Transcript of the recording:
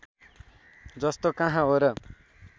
जस्तो कहाँ हो र